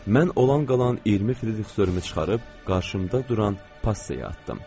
Mən olan qalan 20 frixörümü çıxarıb qarşımda duran Passi-yə atdım.